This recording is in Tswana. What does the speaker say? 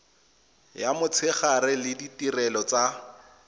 ya motshegare le ditirelo tsa